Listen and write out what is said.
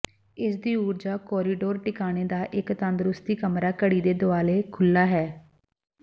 ਇਸਦੀ ਊਰਜਾ ਕੋਰੀਡੋਰ ਟਿਕਾਣੇ ਦਾ ਇੱਕ ਤੰਦਰੁਸਤੀ ਕਮਰਾ ਘੜੀ ਦੇ ਦੁਆਲੇ ਖੁੱਲ੍ਹਾ ਹੈ